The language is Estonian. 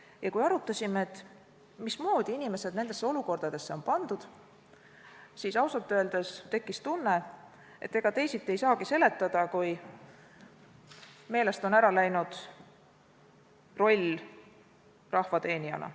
Ja kui arutasime, mismoodi inimesed nendesse olukordadesse on pandud, siis ausalt öeldes tekkis tunne, et ega teisiti ei saagi seletada, kui et meelest on kaotsi läinud rahva teenija roll.